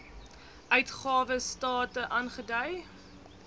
uitgawe state aangedui